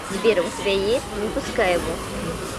сбер у тебя есть не пускай его